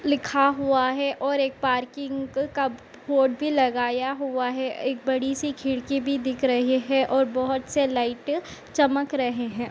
लिखा हुआ है और एक पार्किंग का बोर्ड भी लगाया हुआ है एक बड़ी सी खिड़की भी दिख रही है और बहोत से लाइट चमक रहे हैं।